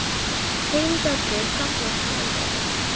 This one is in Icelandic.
Heimdallur fagnar hvalveiðum